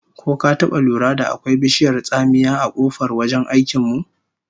Ko ka taba lura da akwai bishiyar tsamiya a kofar wajen aikin mu?